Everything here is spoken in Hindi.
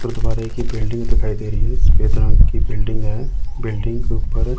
गुरुद्वारे की बिल्डिंग दिखाई दे रही है। सफेद रंग की बिल्डिंग है। बिल्डिंग के ऊपर--